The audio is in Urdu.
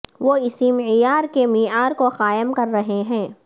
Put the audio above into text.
وہ اسی معیار کے معیار کو قائم کر رہے ہیں